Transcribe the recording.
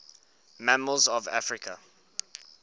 mammals of africa